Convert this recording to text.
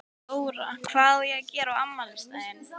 Þóra: Hvað á að gera á afmælisdaginn?